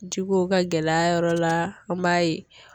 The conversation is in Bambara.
Jikow ka gɛlɛ a yɔrɔ la an m'a ye